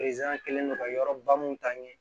kɛlen do ka yɔrɔ ba mun ta ɲɛ